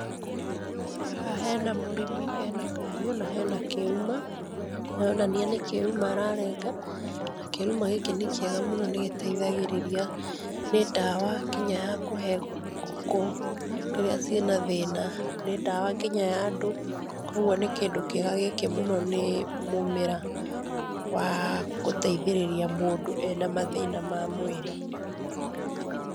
Haha hena mũrĩmi e na kahiũ na he na kĩruma. Nĩaronania nĩ kĩruma ararenga na kĩruma gĩkĩ nĩkĩega mũno nĩgĩteithagĩrĩria nĩ ndawa nginya yakuhe ngũkũ rĩrĩa ci na thĩna. Nĩ ndawa nginya ya andũ, koguo nĩ kĩndũ kĩega gĩkĩ mũno nĩ mũmera wagũteithĩrĩria mũndũ e na mathina ma mwĩrĩ.